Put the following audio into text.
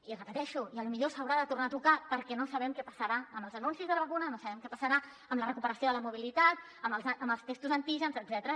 i ho repeteixo potser s’haurà de tornar a tocar perquè no sabem què passarà amb els anuncis de la vacuna no sabem què passarà amb la recuperació de la mobilitat amb els testos d’antígens etcètera